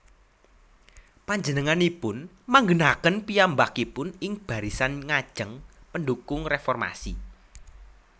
Panjenenganipun manggènaken piyambakipun ing barisan ngajeng pendhukung réformasi